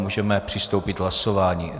Můžeme přistoupit k hlasování.